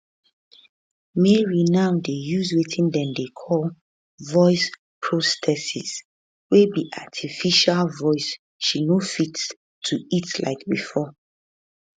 mary now dey use wetin dem dey call voice prosthesis wey be artificial voice she no fit to eat like bifor